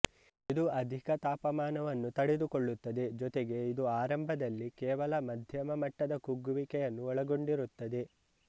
ಇದು ಅಧಿಕ ತಾಪಮಾನವನ್ನು ತಡೆದುಕೊಳ್ಳುತ್ತದೆ ಜೊತೆಗೆ ಇದು ಆರಂಭದಲ್ಲಿ ಕೇವಲ ಮದ್ಯಮ ಮಟ್ಟದ ಕುಗ್ಗುವಿಕೆಯನ್ನು ಒಳಗೊಂಡಿರುತ್ತದೆ